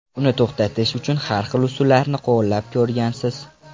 Uni to‘xtatish uchun har xil usullarni qo‘llab ko‘rgansiz.